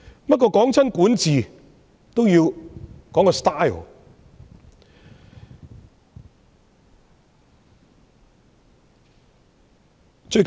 不過，每當談到管治，都要觸及風格的問題。